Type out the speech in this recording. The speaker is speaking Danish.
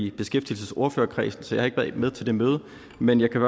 i beskæftigelsesordførerkredsen så jeg har ikke været med til det møde men jeg kan